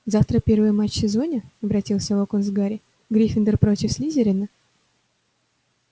завтра первый матч в сезоне обратился локонс к гарри гриффиндор против слизерина